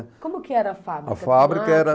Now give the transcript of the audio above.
Como que era a fábrica? A fábrica era